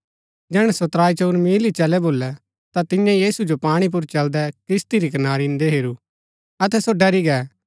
जैहणै सो त्राईचंऊर मील ही चलै भोलै ता तियें यीशु जो पाणी पुर चलदै किस्ती री कनारी इन्दै हेरू अतै सो डरी गै